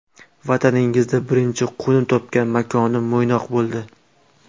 Vataningizda birinchi qo‘nim topgan makonim Mo‘ynoq bo‘ldi.